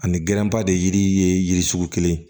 Ani ba de yiri ye yiri sugu kelen ye